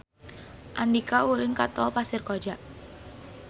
Andika ulin ka Tol Pasir Koja